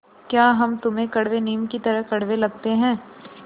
या हम तुम्हें कड़वे नीम की तरह कड़वे लगते हैं